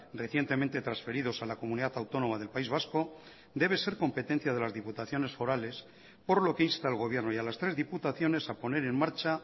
recientemente transferidos a la comunidad autónoma del país vasco debe ser competencia de las diputaciones forales por lo que insta al gobierno y a las tres diputaciones a poner en marcha